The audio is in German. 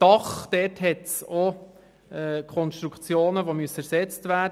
Beim Dach müssen Konstruktionen ersetzt werden.